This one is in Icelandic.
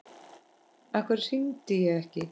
Af hverju hringdi ég ekki?